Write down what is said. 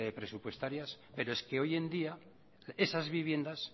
presupuestarias pero es que hoy en día esas viviendas